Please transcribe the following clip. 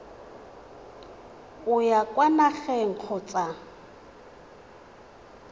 o ya kwa nageng kgotsa